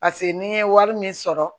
Paseke n'i ye wari min sɔrɔ